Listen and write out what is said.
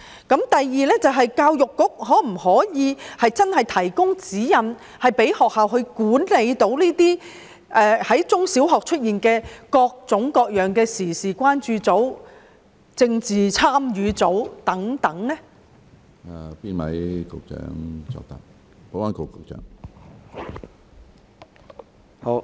第二，教育局可否提供指引，讓中小學管理在校內出現各種各樣的時事關注組、政治參與組等？